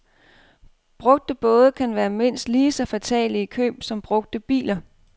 Brugte både kan være mindst lige så fatale i køb som brugte biler.